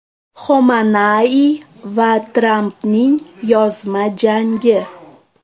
Xomanaiy va Trampning yozma jangi.